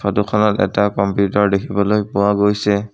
ফটোখনত এটা কম্পিউটাৰ দেখিবলৈ পোৱা গৈছে।